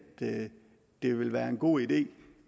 det vil være en god idé